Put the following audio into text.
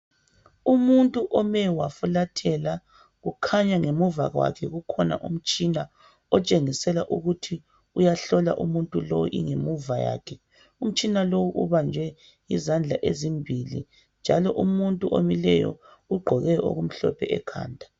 Umuntu ome wafulathela kukhanya ngemuva kwakhe kukhona umtshina ontshengisela ukuthi uyahlola umuntu lo ingemuva yakhe umtshini lo ubanjwe izandla ezimbili njalo umuntu omileyo ugqoke okumhlophe ekhanda